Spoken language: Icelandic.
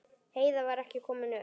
Heiða var ekki komin upp.